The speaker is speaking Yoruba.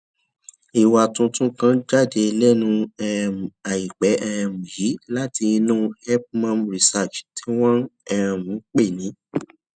ìwà tuntun kan jáde lénu um àìpé um yìí láti inú help mum research tí wón um ń pè ní